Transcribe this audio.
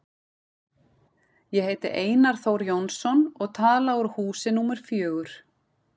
Ég heiti Einar Þór Jónsson og tala úr húsi númer fjögur.